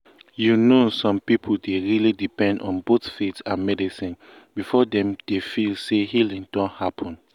you know some people dey really depend on both faith and medicine before dem dey feel say healing don happen.